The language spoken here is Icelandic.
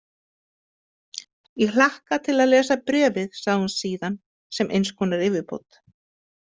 Ég hlakka til að lesa bréfið, sagði hún síðan sem eins konar yfirbót.